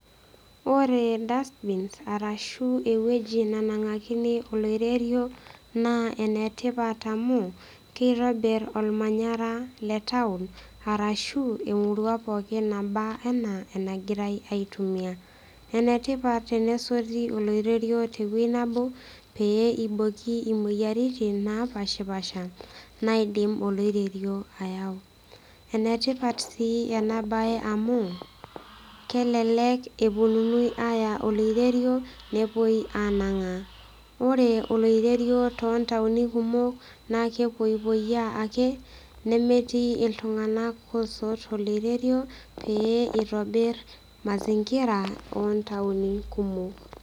Ore dustbins arashu eweuji nenangakini oloirerio naa enetipat amu kitobir ormanyara letown arashu emurua pookin naba anaa enagirae aitumia . Enetipat tenesoti oloirerio tewuei nebo pee iboki imoyiaritin napashapasha naidim oloirerio ayau . Enetipat sii enabae amu kelelek eponuni aya oloirerio nepuoi anangaa. Ore oloirerio tontaoini kumok naa kepoipoiyaa ake nemetii iltunganak osot oloirerio pee itobir mazingira ontaoni kumok.